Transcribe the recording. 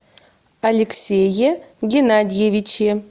алексее геннадьевиче